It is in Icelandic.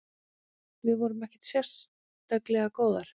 Við vorum ekkert sérstaklega góðar.